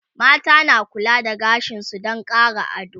mata na kula da gashinsu Dan Ƙara ado